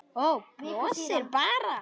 Brosir bara.